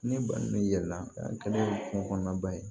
Ne balimamuso yɛlɛla kungo kɔnɔ ba ye